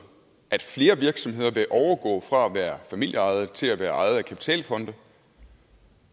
at flere virksomheder vil overgå fra at være familieejede til at være ejet af kapitalfonde